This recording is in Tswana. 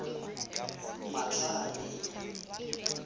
matlhale